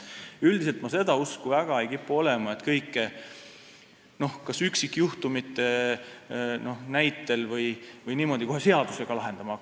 Üldiselt ma väga ei kipu olema seda usku, et üksikjuhtumite näitel peaks hakkama kõike kohe seadusega lahendama.